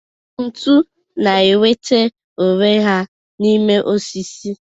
Ntu na-enweta onwe ha n'ime ọsisi.